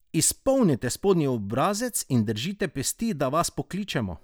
Izpolnite spodnji obrazec in držite pesti, da vas pokličemo!